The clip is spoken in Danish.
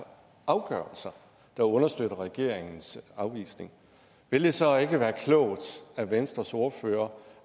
afgørelser der understøtter regeringens afvisning vil det så ikke være klogt af venstres ordfører